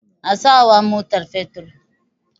A sawa mota fetur.